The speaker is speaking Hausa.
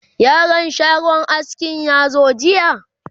yaron shagon askin ya zo jiya?